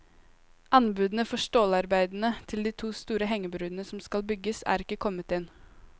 Anbudene for stålarbeidene til de to store hengebroene som skal bygges, er ikke kommet inn.